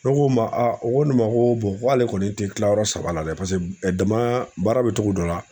Ne ko n ma u ko ne ma ko ko ale kɔni tɛ kilayɔrɔ saba la dɛ dama baara bɛ cogo dɔ la